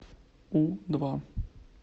у два